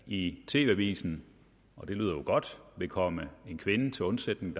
i tv avisen og det lyder jo godt vil komme en kvinde til undsætning